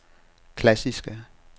klassiske